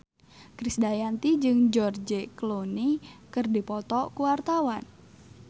Krisdayanti jeung George Clooney keur dipoto ku wartawan